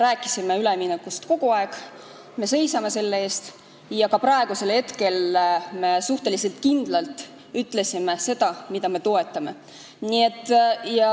Me oleme üleminekust kogu aeg rääkinud, me seisame selle eest ja ka praegu me suhteliselt kindlalt ütlesime seda, mida me toetame.